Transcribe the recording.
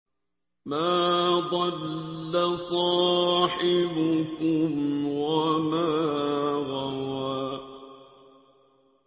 مَا ضَلَّ صَاحِبُكُمْ وَمَا غَوَىٰ